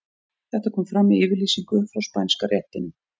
Þetta kom fram í yfirlýsingu frá Spænska réttinum.